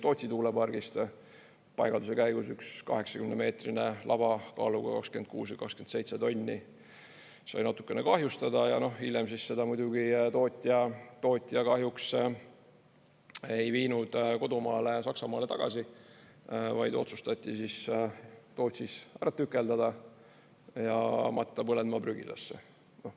Tootsi tuulepargis sai paigalduse käigus üks 80-meetrine laba kaaluga 26 või 27 tonni natuke kahjustada ja hiljem seda muidugi tootja kahjuks ei viinud kodumaale Saksamaale tagasi, vaid otsustati Tootsis ära tükeldada ja matta prügilasse.